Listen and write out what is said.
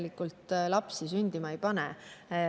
neid arutelusid, mis meil on praeguseks ministritega sel teemal olnud.